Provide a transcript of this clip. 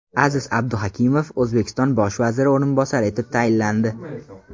Aziz Abduhakimov O‘zbekiston bosh vaziri o‘rinbosari etib tayinlandi.